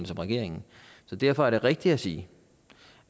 som regeringen så derfor er det rigtigt at sige